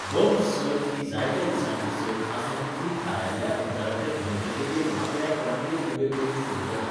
Bumps सर्त ही जायत्या दिसांची सर्त आसून ती थारायिल्ल्या अंतराचेर न्हंयचे देगेर वांगड्यांक रांगेंत उबे करून सुरू जाता.